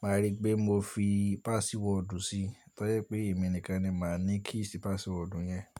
màá rí pé mo fi password sí, tọ́ yẹ pé èmi nìkan ni màá ní key sí password yẹn.